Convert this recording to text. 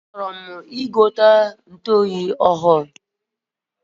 A chọrọm igote ntuoyi ọhụrụ